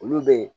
Olu bɛ yen